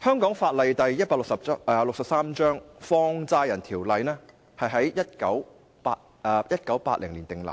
香港法例第163章《放債人條例》在1980年訂立，